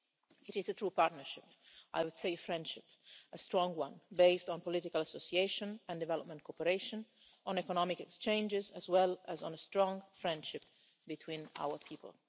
It is a true partnership I would say friendship a strong one, based on political association and development cooperation, on economic exchanges as well as on a strong friendship between our people.